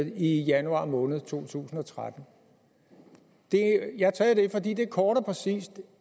i januar måned to tusind og tretten jeg har taget det fordi det kort og præcist